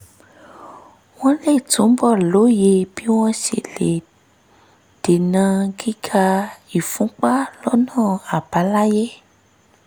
wọ́n lè túbọ̀ lóye bí wọ́n ṣe lè dènà gíga ìfúnpá lọ́nà àbáláyé